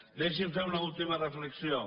deixin me fer una última reflexió